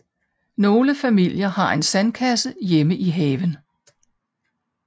Nogle familier har en sandkasse hjemme i haven